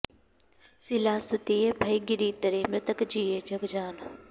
सिला सुतिय भइ गिरि तरे मृतक जिए जग जान